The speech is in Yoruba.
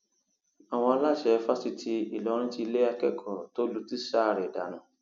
àwọn aláṣẹ fásitì ìlọrin ti lé akẹkọọ tó lu tíṣà rẹ dànù